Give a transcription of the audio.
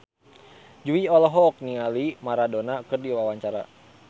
Jui olohok ningali Maradona keur diwawancara